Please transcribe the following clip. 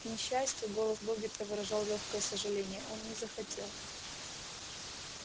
к несчастью голос богерта выражал лёгкое сожаление он не захотел